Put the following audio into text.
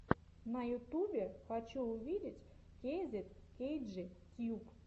на ютубе хочу увидеть кейзет кейджи тьюб